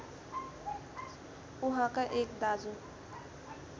उहाँका एक दाजु